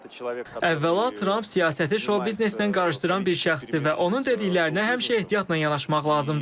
Əvvəla Tramp siyasəti şou-bizneslə qarışdıran bir şəxsdir və onun dediklərinə həmişə ehtiyatla yanaşmaq lazımdır.